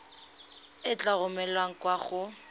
e tla romelwa kwa go